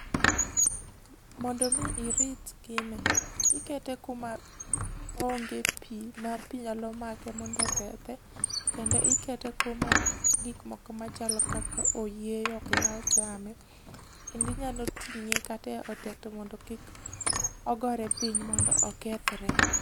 Mondo mi irit gini, ikete kuma onge pi ma pi nyalo make mondo okethe, kendo ikete kuma gik moko machalo oyieyo ok nyal chame. Kendo inyalo ting'e kata e otete mondo kik ogore piny mondo okethre.